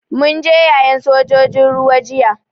Mun je yayen sojojin ruwa jiya.